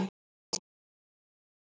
En ævi samt.